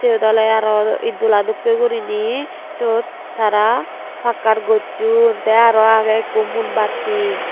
eyot oley aro eed dola dokkey guriney siyot tara pakkar gocchon tey arow agey ekko mumbatti.